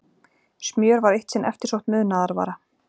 smjör var eitt sinn eftirsótt munaðarvara